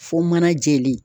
Fo mana jɛlen.